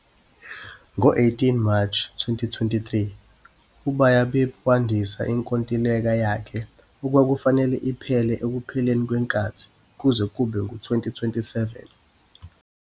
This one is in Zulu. Ngo-18 March 2023, uBayabip wandisa inkontileka yakhe, okwakufanele iphele ekupheleni kwenkathi, kuze kube ngu-2027.